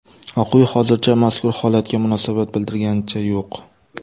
Oq uy hozircha mazkur holatga munosabat bildirganicha yo‘q.